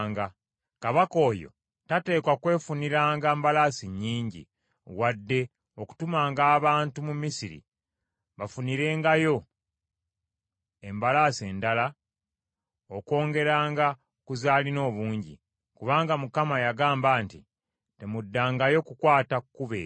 Kabaka oyo tateekwa kwefuniranga mbalaasi nnyingi, wadde okutumanga abantu mu Misiri bamufunirengayo embalaasi endala okwongeranga ku z’alina obungi; kubanga Mukama yagamba nti, “Temuddangayo kukwata kkubo eryo,”